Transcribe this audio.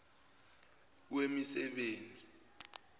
wemisebenzi